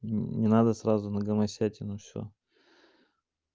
не надо сразу на гомосятину все